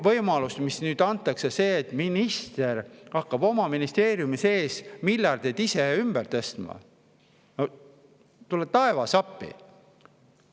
Võimalus, mis nüüd antakse – see, et minister hakkab oma ministeeriumi sees miljardeid ise ümber tõstma –, no tule taevas appi!